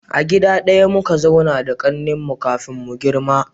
A gida daya muka zauna da kakannin mu kafin mu girma